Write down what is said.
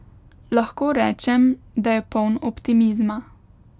Lahko rečem, da je poln optimizma.